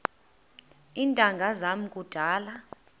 iintanga zam kudala